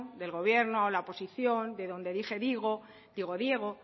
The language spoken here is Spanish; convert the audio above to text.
del gobierno a la oposición de donde dije diego digo diego